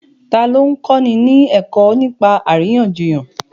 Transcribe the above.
Ta ló ń kọ́ni ní ẹ̀kọ́ nípa àríyànjiyàn?